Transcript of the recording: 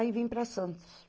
Aí vim para Santos.